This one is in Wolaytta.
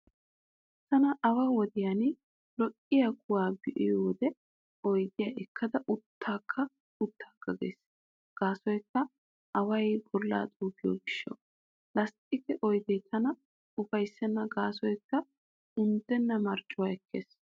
Tana awaa wodiyan lo'iyaa kuwaa be'iyo wode oydiyaa ekkada uttaaga uttaaga gees gaasoykka away bolla xuuggiyo gishshawu. Lasttiqe oyde tana ufayssenna gaasoykka unddenna marccuwaa ekkees.